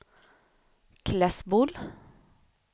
Klässbol